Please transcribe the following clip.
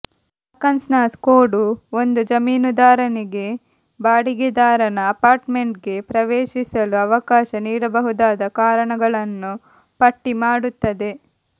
Arkansas code ಒಂದು ಜಮೀನುದಾರನಿಗೆ ಬಾಡಿಗೆದಾರನ ಅಪಾರ್ಟ್ಮೆಂಟ್ಗೆ ಪ್ರವೇಶಿಸಲು ಅವಕಾಶ ನೀಡಬಹುದಾದ ಕಾರಣಗಳನ್ನು ಪಟ್ಟಿಮಾಡುತ್ತದೆ